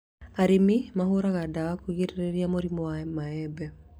Arĩmi mahũraga ndawa kũgirĩrĩria mĩrimũ ya mĩembe